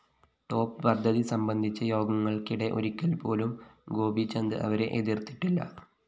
top പദ്ധതി സംബന്ധിച്ച യോഗങ്ങള്‍ക്കിടെ ഒരിക്കല്‍പ്പോലും ഗോപീചന്ദ് അവരെ എതിര്‍ത്തിട്ടില്ല